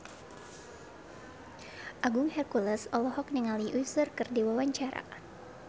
Agung Hercules olohok ningali Usher keur diwawancara